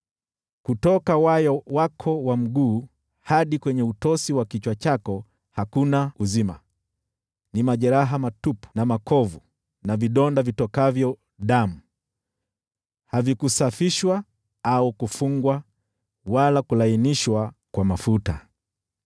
Kutoka wayo wako wa mguu hadi kwenye utosi wa kichwa chako hakuna uzima: ni majeraha matupu na makovu na vidonda vitokavyo damu, havikusafishwa au kufungwa wala kulainishwa kwa mafuta.